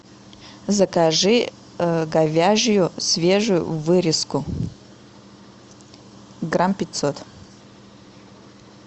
закажи говяжью свежую вырезку грамм пятьсот